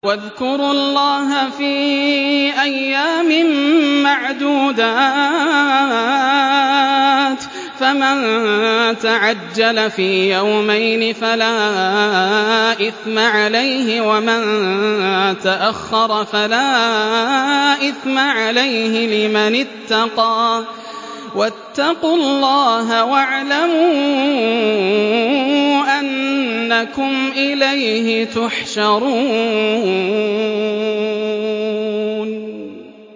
۞ وَاذْكُرُوا اللَّهَ فِي أَيَّامٍ مَّعْدُودَاتٍ ۚ فَمَن تَعَجَّلَ فِي يَوْمَيْنِ فَلَا إِثْمَ عَلَيْهِ وَمَن تَأَخَّرَ فَلَا إِثْمَ عَلَيْهِ ۚ لِمَنِ اتَّقَىٰ ۗ وَاتَّقُوا اللَّهَ وَاعْلَمُوا أَنَّكُمْ إِلَيْهِ تُحْشَرُونَ